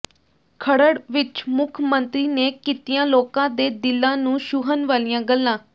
ਖਰੜ ਵਿੱਚ ਮੁੱਖ ਮੰਤਰੀ ਨੇ ਕੀਤੀਆਂ ਲੋਕਾਂ ਦੇ ਦਿਲਾਂ ਨੂੰ ਛੂਹਣ ਵਾਲੀਆਂ ਗੱਲਾਂ